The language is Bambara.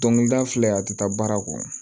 Dɔnkilida filɛ a ti taa baara kɔ